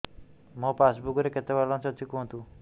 ମୋ ପାସବୁକ୍ ରେ କେତେ ବାଲାନ୍ସ କୁହନ୍ତୁ